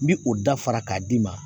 N bi o da fara k'a d'i ma